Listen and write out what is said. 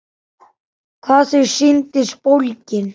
Hvað þau sýndust bólgin!